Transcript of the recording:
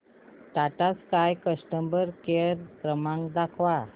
Tata Sky customer care क्रमांक दाखवा